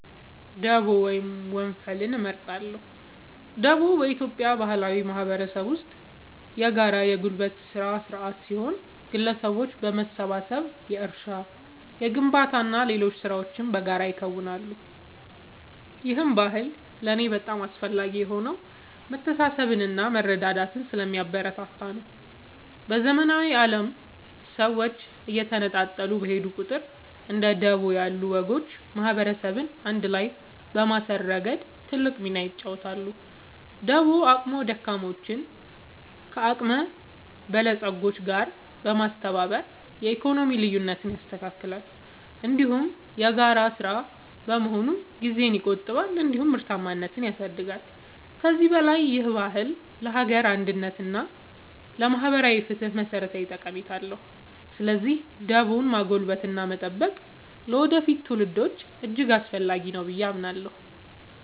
ደቦ ወይም ወንፈል እመርጣለሁ። ደቦ በኢትዮጵያ ባህላዊ ማህበረሰብ ውስጥ የጋራ የጉልበት ሥራ ሥርዓት ሲሆን፣ ግለሰቦች በመሰባሰብ የእርሻ፣ የግንባታና ሌሎች ሥራዎችን በጋራ ያከናውናሉ። ይህ ባህል ለእኔ በጣም አስፈላጊ የሆነው መተሳሰብንና መረዳዳትን ስለሚያበረታታ ነው። በዘመናዊው ዓለም ሰዎች እየተነጣጠሉ በሄዱ ቁጥር፣ እንደ ደቦ ያሉ ወጎች ማህበረሰብን አንድ ላይ በማሰር ረገድ ትልቅ ሚና ይጫወታሉ። ደቦ አቅመ ደካሞችን ከአቅመ በለጾች ጋር በማስተባበር የኢኮኖሚ ልዩነትን ያስተካክላል፤ እንዲሁም የጋራ ሥራ በመሆኑ ጊዜን ይቆጥባል እንዲሁም ምርታማነትን ያሳድጋል። ከዚህም በላይ ይህ ባህል ለሀገር አንድነት እና ለማህበራዊ ፍትህ መሠረታዊ ጠቀሜታ አለው። ስለዚህ ደቦን ማጎልበትና መጠበቅ ለወደፊት ትውልዶች እጅግ አስፈላጊ ነው ብዬ አምናለሁ።